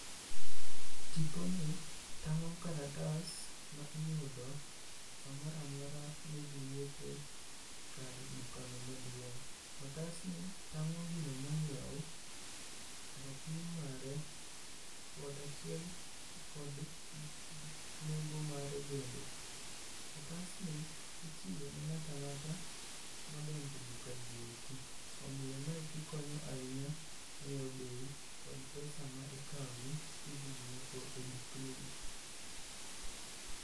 Tiponi tang'o karatas ma iyudo samoramora midhi nyiepe kar dukano maduong'. Otasni tang'o gino monyiew, rapim mare, kod achiel, kod nengo mare bende. Otasni ichiwo ne ng'ata ng'ata modonje dukagieki, omiyo mae kikonyo ahinya ng'eyo bei kod pesa ma ikaoni kidhi nyiepo e dukni gi.